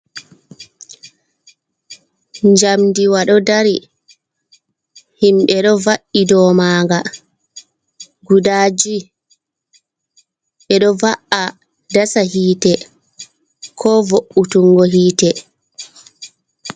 Njamdiwa ɗo dari. Himɓe ɗo va’i dou manga guda jui. Ɓe ɗo va'a dasa hite, ko vo'utungo hite.